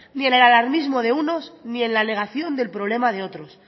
ni en el alarmismo de unos ni en la negación del problema de otros